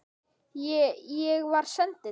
Ég. ég var sendill